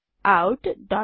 out